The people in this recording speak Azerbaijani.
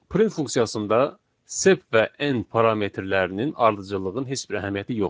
Print funksiyasında sep və N parametrlərinin ardıcıllığın heç bir əhəmiyyəti yoxdur.